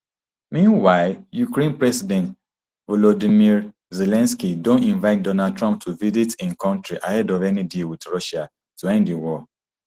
meanwhile ukraine president volodymyr zelensky don invite donald trump to visit im kontri ahead of any deal wit russia to end di war